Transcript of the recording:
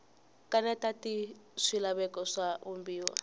kanetana ni swilaveko swa vumbiwa